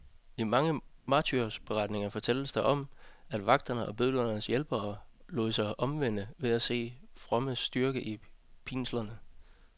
I mange martyrberetninger fortælles der om, at vagterne og bødlernes hjælpere lod sig omvende ved at se de frommes styrke i pinslerne.